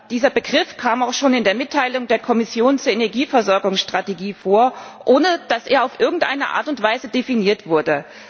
Dieser Begriff kam auch schon in der Mitteilung der Kommission zur Energieversorgungsstrategie vor, ohne dass er auf irgendeine Art und Weise definiert wurde.